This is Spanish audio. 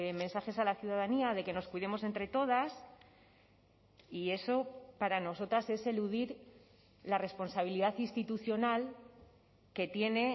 mensajes a la ciudadanía de que nos cuidemos entre todas y eso para nosotras es eludir la responsabilidad institucional que tiene